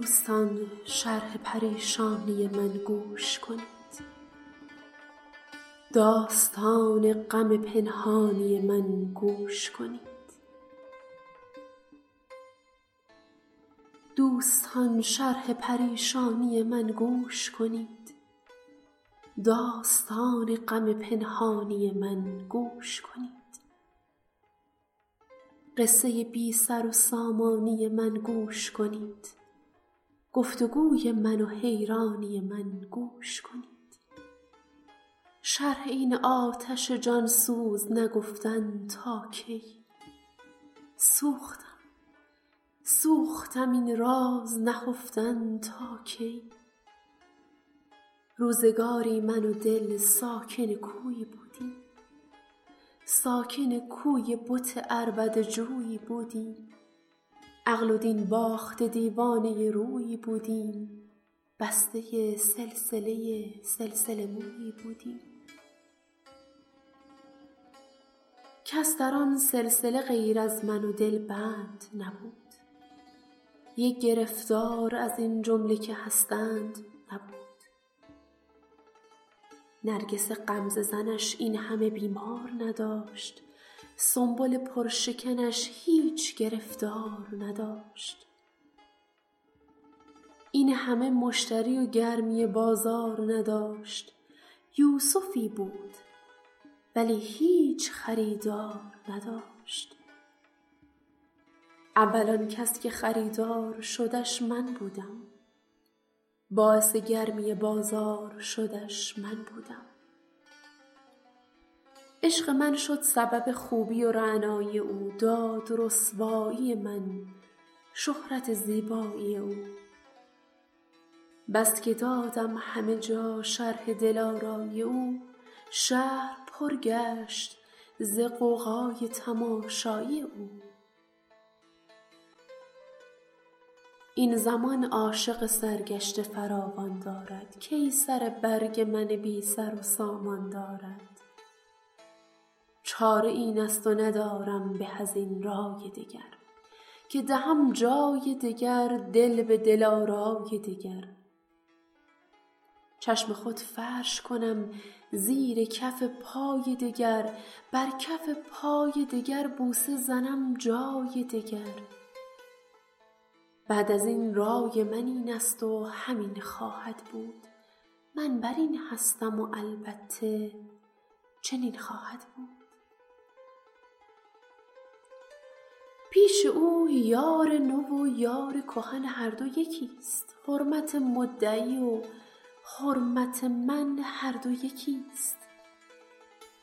دوستان شرح پریشانی من گوش کنید داستان غم پنهانی من گوش کنید قصه بی سر و سامانی من گوش کنید گفت وگوی من و حیرانی من گوش کنید شرح این آتش جان سوز نگفتن تا کی سوختم سوختم این راز نهفتن تا کی روزگاری من و دل ساکن کویی بودیم ساکن کوی بت عربده جویی بودیم عقل و دین باخته دیوانه رویی بودیم بسته سلسله سلسله مویی بودیم کس در آن سلسله غیر از من و دل بند نبود یک گرفتار از این جمله که هستند نبود نرگس غمزه زنش این همه بیمار نداشت سنبل پر شکنش هیچ گرفتار نداشت این همه مشتری و گرمی بازار نداشت یوسفی بود ولی هیچ خریدار نداشت اول آن کس که خریدار شدش من بودم باعث گرمی بازار شدش من بودم عشق من شد سبب خوبی و رعنایی او داد رسوایی من شهرت زیبایی او بس که دادم همه جا شرح دلآرایی او شهر پر گشت ز غوغای تماشایی او این زمان عاشق سرگشته فراوان دارد کی سر برگ من بی سر و سامان دارد چاره این است و ندارم به از این رأی دگر که دهم جای دگر دل به دل آرای دگر چشم خود فرش کنم زیر کف پای دگر بر کف پای دگر بوسه زنم جای دگر بعد از این رای من این است و همین خواهد بود من بر این هستم و البته چنین خواهد بود پیش او یار نو و یار کهن هر دو یکی ست حرمت مدعی و حرمت من هر دو یکی ست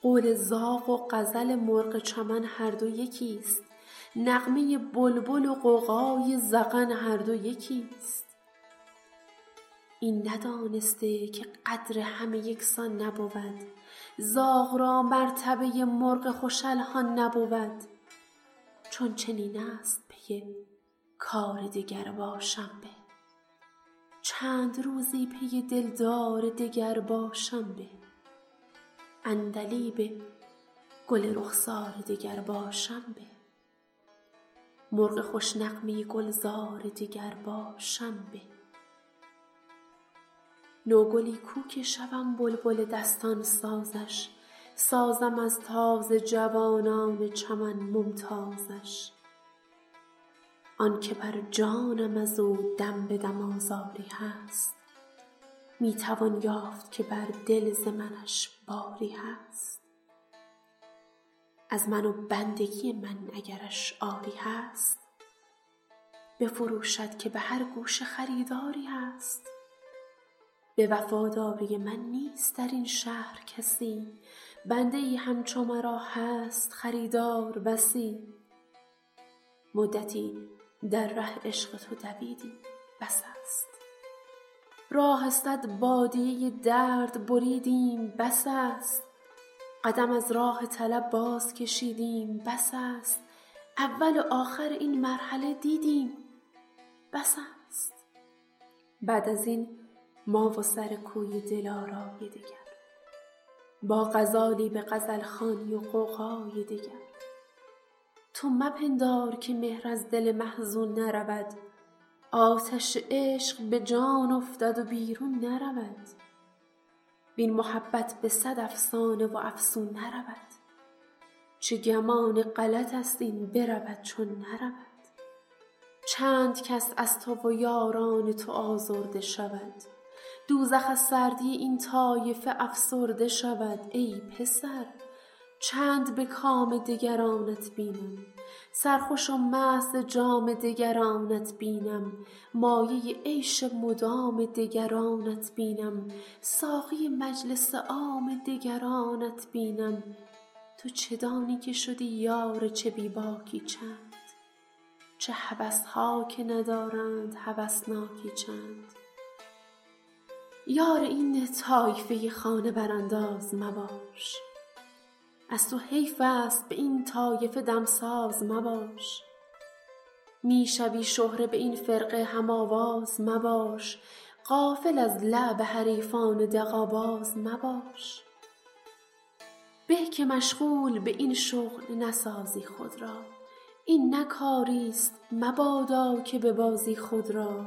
قول زاغ و غزل مرغ چمن هر دو یکی ست نغمه بلبل و غوغای زغن هر دو یکی ست این ندانسته که قدر همه یکسان نبود زاغ را مرتبه مرغ خوش الحان نبود چون چنین است پی کار دگر باشم به چند روزی پی دلدار دگر باشم به عندلیب گل رخسار دگر باشم به مرغ خوش نغمه گلزار دگر باشم به نوگلی کو که شوم بلبل دستان سازش سازم از تازه جوانان چمن ممتازش آن که بر جانم از او دم به دم آزاری هست می توان یافت که بر دل ز منش باری هست از من و بندگی من اگرش عاری هست بفروشد که به هر گوشه خریداری هست به وفاداری من نیست در این شهر کسی بنده ای همچو مرا هست خریدار بسی مدتی در ره عشق تو دویدیم بس است راه صد بادیه درد بریدیم بس است قدم از راه طلب باز کشیدیم بس است اول و آخر این مرحله دیدیم بس است بعد از این ما و سر کوی دل آرای دگر با غزالی به غزل خوانی و غوغای دگر تو مپندار که مهر از دل محزون نرود آتش عشق به جان افتد و بیرون نرود وین محبت به صد افسانه و افسون نرود چه گمان غلط است این برود چون نرود چند کس از تو و یاران تو آزرده شود دوزخ از سردی این طایفه افسرده شود ای پسر چند به کام دگرانت بینم سرخوش و مست ز جام دگرانت بینم مایه عیش مدام دگرانت بینم ساقی مجلس عام دگرانت بینم تو چه دانی که شدی یار چه بی باکی چند چه هوس ها که ندارند هوسناکی چند یار این طایفه خانه برانداز مباش از تو حیف است به این طایفه دمساز مباش می شوی شهره به این فرقه هم آواز مباش غافل از لعب حریفان دغل باز مباش به که مشغول به این شغل نسازی خود را این نه کاری ست مبادا که ببازی خود را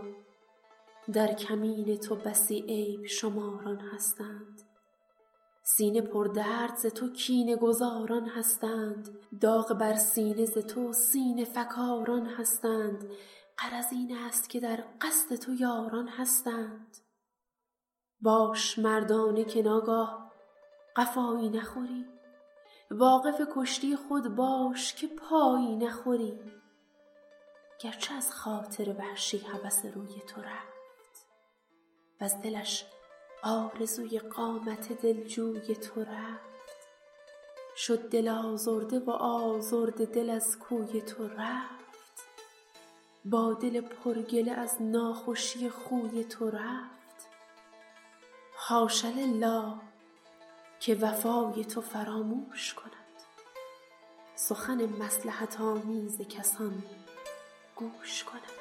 در کمین تو بسی عیب شماران هستند سینه پردرد ز تو کینه گذاران هستند داغ بر سینه ز تو سینه فکاران هستند غرض این است که در قصد تو یاران هستند باش مردانه که ناگاه قفایی نخوری واقف کشتی خود باش که پایی نخوری گر چه از خاطر وحشی هوس روی تو رفت وز دلش آرزوی قامت دلجوی تو رفت شد دل آزرده و آزرده دل از کوی تو رفت با دل پر گله از ناخوشی خوی تو رفت حاش لله که وفای تو فراموش کند سخن مصلحت آمیز کسان گوش کند